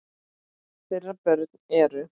Þeirra börn eru.